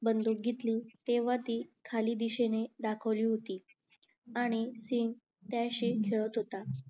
बंदूक घेतली तेव्हा ती खाली दिशेने दाखवली होती आणि सिंग त्याशी खेळत होतं